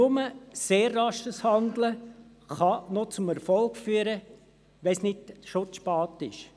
Nur sehr rasches Handeln kann noch zum Erfolg führen, falls es nicht schon zu spät ist.